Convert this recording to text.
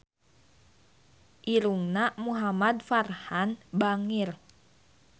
Irungna Muhamad Farhan bangir